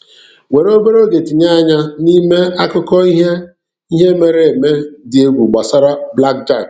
Were obere oge tinye anya n'ime akụkọ ihe ihe mere eme dị egwu gbasara Blackjack.